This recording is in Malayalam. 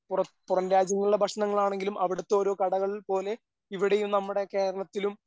പുറത്ത് പുറം രാജ്യങ്ങളിലെ ഭക്ഷണങ്ങളാണെങ്കിലും അവിടുത്തെ ഓരോ കടകൾ പോലെ ഇവിടെയും നമ്മുടെ കേരളത്തിലും